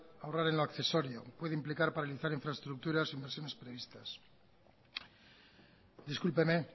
ahorra en lo accesorio puede implicar paralizar infraestructuras e inversiones previstas discúlpeme